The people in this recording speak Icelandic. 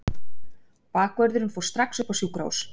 Bakvörðurinn fór strax upp á sjúkrahús.